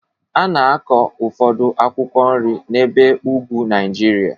A na-akụ ụfọdụ akwụkwọ nri n'ebe ugwu Nigeria